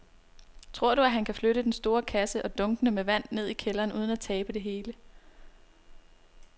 Tror du, at han kan flytte den store kasse og dunkene med vand ned i kælderen uden at tabe det hele?